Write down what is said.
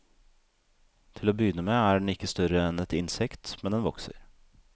Til å begynne med er den ikke større enn et innsekt, men den vokser.